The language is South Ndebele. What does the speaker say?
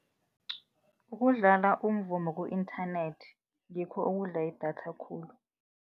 Ukudlala umvumo ku-internet ngikho okudla idatha khulu.